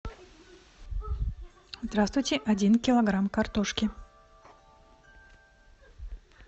здравствуйте один килограмм картошки